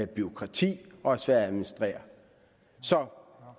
bureaukrati og er svær at administrere så